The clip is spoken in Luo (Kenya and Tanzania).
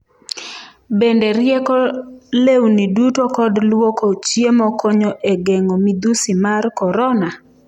Bende rieko lewni duto kod lwoko chiemo konyo e geng'o midhusi mar corona?